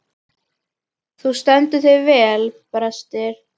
Þú stendur þig vel, Brestir!